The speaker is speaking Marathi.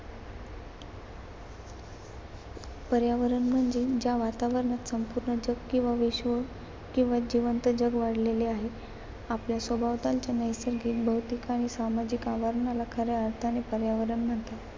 पर्यावरण म्हणजे ज्या वातावरणात संपूर्ण जग किंवा विश्व किंवा जिवंत जग वाढलेले आहे. आपल्या सभोवतालच्या नैसर्गिक, भौतिक आणि सामाजिक आवरणाला खऱ्या अर्थाने पर्यावरण म्हणतात.